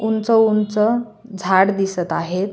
उंच उंच झाड दिसत आहेत.